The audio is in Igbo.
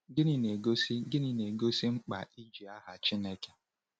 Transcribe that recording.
Gịnị na-egosi Gịnị na-egosi mkpa iji aha Chineke?